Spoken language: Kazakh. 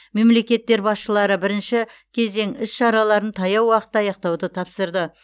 мемлекеттер басшылары бірінші кезең іс шараларын таяу уақытта аяқтауды тапсырды